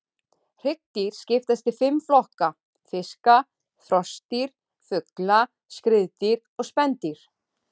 Hryggdýr skiptast í fimm flokka: fiska, froskdýr, fugla, skriðdýr og spendýr.